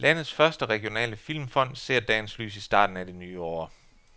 Landets første regionale filmfond ser dagens lys i starten af det nye år.